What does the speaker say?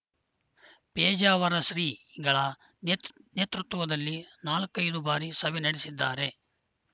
ಪೇಜಾವರ ಶ್ರೀ ಗಳ ನೇತ್ ನೇತೃತ್ವದಲ್ಲಿ ನಾಲ್ಕೈದು ಬಾರಿ ಸಭೆ ನಡೆಸಿದ್ದಾರೆ